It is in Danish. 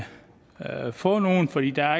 få nogen fordi der